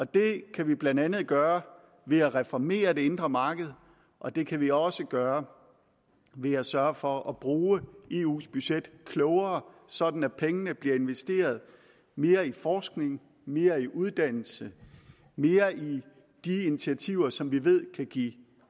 det kan vi blandt andet gøre ved at reformere det indre marked og det kan vi også gøre ved at sørge for at bruge eus budget klogere sådan at pengene bliver investeret mere i forskning mere i uddannelse mere i de initiativer som vi ved kan give